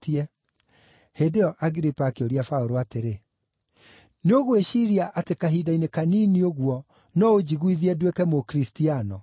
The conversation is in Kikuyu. Hĩndĩ ĩyo Agiripa akĩũria Paũlũ atĩrĩ, “Nĩũgwĩciiria atĩ kahinda-inĩ kanini ũguo no ũnjiguithie nduĩke Mũkristiano?”